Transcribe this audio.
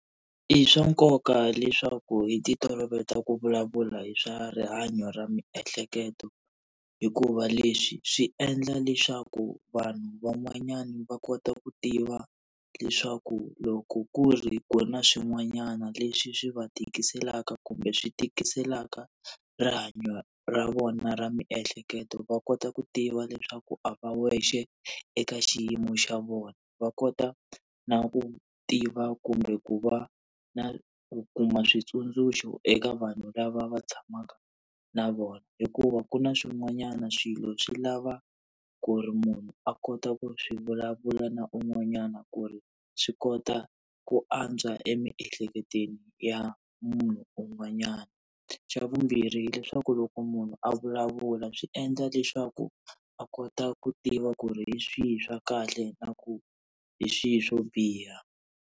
I swa nkoka leswaku hi ti toloveta ku vulavula hi swa rihanyo ra miehleketo, hikuva leswi swi endla leswaku vanhu van'wanyana va kota ku tiva leswaku loko ku ri kona swin'wanyana leswi swi va tikiselaka kumbe swi tikiselaka rihanyo ra vona ra miehleketo va kota ku tiva leswaku a va wexe eka xiyimo xa vona. Va kota na ku tiva kumbe ku va na ku kuma switsundzuxo eka vanhu lava va tshamaka na vona. Hikuva ku na swin'wanyana swilo swi lava ku ri munhu a kota ku swi vulavula na un'wanyana ku ri swi kota ku antswa emiehleketweni ya munhu un'wanyana. Xa vumbirhi hileswaku loko munhu a vulavula swi endla leswaku a kota ku tiva ku ri hi swihi swa kahle na ku hi swihi swo biha.